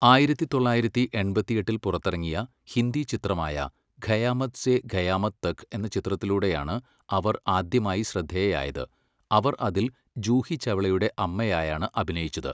ആയിരത്തി തൊള്ളായിരത്തി എൺപത്തിയെട്ടിൽ പുറത്തിറങ്ങിയ ഹിന്ദി ചിത്രമായ ഖയാമത്ത് സേ ഖയാമത് തക് എന്ന ചിത്രത്തിലൂടെയാണ് അവർ ആദ്യമായി ശ്രദ്ധേയയായത്, അവർ അതിൽ ജൂഹി ചൗളയുടെ അമ്മയായാണ് അഭിനയിച്ചത്.